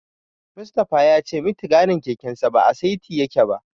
Mustapha ya ce mitigarin kekensa ba a saiti yake ba.